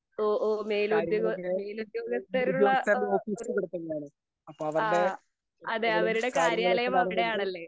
ഓ ഓ മേലുദ്യോ മേലുദ്യോഗസ്ഥരുള്ള ഇഹ് ഒരു ആഹ് അതെ അവരുടെ കാര്യാലയം അവിടെയാണല്ലേ?